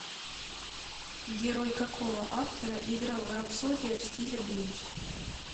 герой какого автора играл рапсодия в стиле блюз